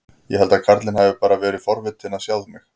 Ég held að karlinn hafi bara verið forvitinn að sjá mig.